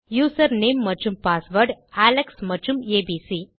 user name மற்றும் password Alex மற்றும்abc